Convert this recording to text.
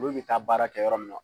Olu bi taa baara kɛ yɔrɔ min na